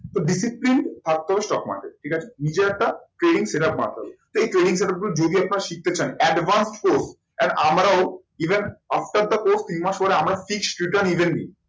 তো discipline থাকতে হবে stock market এ ঠিক আছে নিজের একটা training setup বানাতে হবে। সেই training setup যদি আপনারা শিখতে চান advance course and আমরাও even after the course তিনমাস পরে আমরা